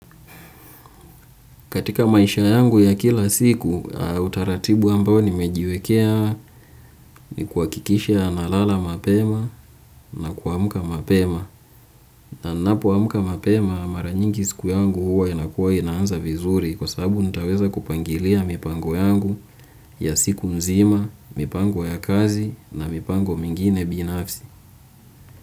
Katika maisha yangu ya kila siku, utaratibu ambao nimejiwekea ni kuhakikisha nalala mapema na kuamka mapema. Na ninapoamka mapema mara nyingi siku yangu huwa inakuwa inaanza vizuri kwa sababu nitaweza kupangilia mipango yangu ya siku nzima, mipango ya kazi na mipango mingine binafsi.